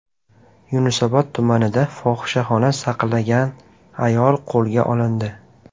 Yunusobod tumanida fohishaxona saqlagan ayol qo‘lga olindi.